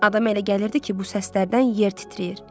Adam elə gəlirdi ki, bu səslərdən yer titrəyir.